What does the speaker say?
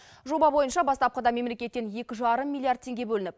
жоба бойынша бастапқыда мемлекеттен екі жарым миллиард теңге бөлініп